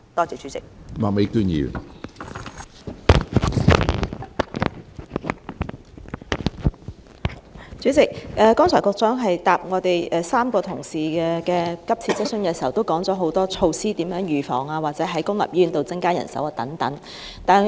主席，局長剛才回答3位同事的急切質詢時提到多項措施，包括預防方面或在公立醫院增加人手等。